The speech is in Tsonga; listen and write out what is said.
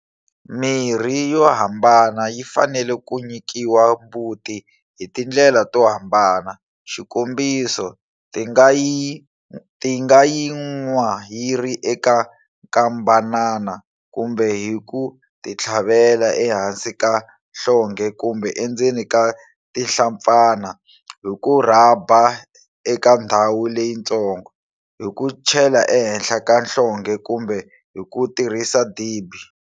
Mirhi yo hambana yi fanele ku nyikiwa mbuti hi tindlela to hambana, xikombiso, ti nga yi nwa yi ri eka nkambanana, kumbe hi ku titlhavela ehansi ka nhlonghe kumbe endzeni ka tinhlampfana, hi ku rhaba eka ndhawu leyitsongo, hi ku chela ehenhla ka nhlonghe kumbe hi ku tirhisa dibi.